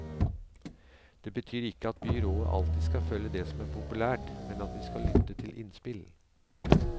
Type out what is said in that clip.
Det betyr ikke at byrådet alltid skal følge det som er populært, men at vi skal lytte til innspill.